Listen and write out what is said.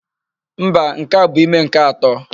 Mba, nke a bụ ime nke atọ.